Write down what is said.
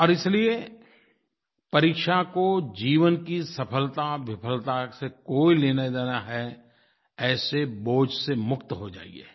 और इसलिये परीक्षा को जीवन की सफलताविफलता से कोई लेनादेना है ऐसे बोझ से मुक्त हो जाइए